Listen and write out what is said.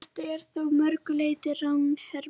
Þetta er þó að mörgu leyti ranghermi.